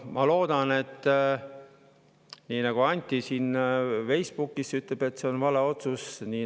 Anti ütleb Facebookis, et see on vale otsus.